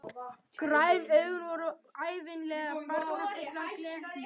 Græn augun voru ævinlega barmafull af glettni.